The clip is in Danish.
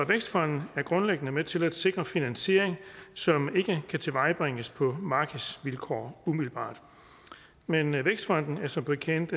vækstfonden er grundlæggende med til at sikre finansiering som ikke kan tilvejebringes på markedsvilkår umiddelbart men vækstfonden er som bekendt